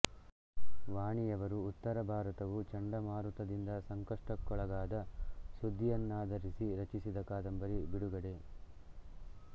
ವಾಣಿಯವರು ಉತ್ತರ ಭಾರತವು ಚಂಡಮಾರುತದಿಂದ ಸಂಕಷ್ಟಕ್ಕೊಳಗಾದ ಸುದ್ದಿಯನ್ನಾಧರಿಸಿ ರಚಿಸಿದ ಕಾದಂಬರಿ ಬಿಡುಗಡೆ